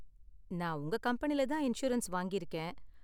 நான் உங்க கம்பெனில தான் இன்சூரன்ஸ் வாங்கிருக்கேன்.